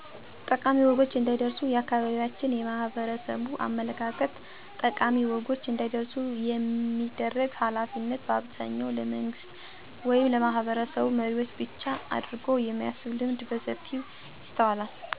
ጠቃሚ ወጎች እንዳይረስ የአካባቢያችን የማህበረሰቡ አመለካከት ጠቃሚ ወጎች እንዳይረሱ የማድረግ ሀላፊነት በአብዛኛው ለመንግስት ወይም ለማህበረሰብ መሪዎች ብቻ አድርጎ የማሰብ ልምድ በሰፊው ይስተዋላል። ሆኖም ግን ስለጠቃሚ ወጎች ለማስታወስ እና ለቀጣዩ ትውልድ ለማስተላለፍ ይቻል ዘንድ መፅሐፍን ፅፎ ማሳተም ማህበረሰቡ እንዲያነበው እና እንዲረዳ የማድረግ ስራ ቢሰራ መልካም ነው። ስለዚህ ጠቃሚ ወጎች እዳይረሱ ለማድረግ በተለይ ለነገ ሀገር ተረካቢው ወጣት ሀየል ማስተማረና ማስገንዘብ ከቻልን እነዚህን ጠቃሚ ወጎች እያስታወሱ ለመኖር ለቤተሰቦች፣ ለት/ቤቶች፣ ለማህበረሰብ መሪወች ብቻ የማይተው መሆኑን ሁሉም ሰው የሚጫወተው ድርሻ እንዳለው ማወቅና መገንዘብ አለበት።